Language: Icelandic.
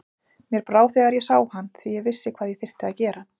Mér brá þegar ég sá hann því ég vissi hvað ég þyrfti að gera.